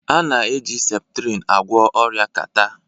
A na-eji septrin agwọ ọrịa catarh